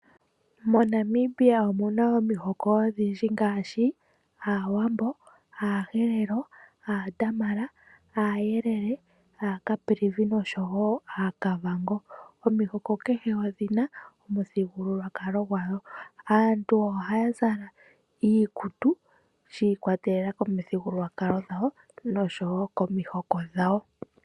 MoNamibia omu na omihoko odhindji ngaashi: Aawambo, Aaherero, Aadamara, Aayelele, Aacaprivi nosho wo Aakavango. Omihoko kehe odhi na omithigululwakalo dhawo. Aantu ohaya zala iikutu shi ikwatelela komithigululwakalo dhawo nosho wo komihoko dhawo.